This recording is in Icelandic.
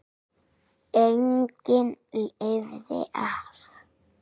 Enginn lifði af.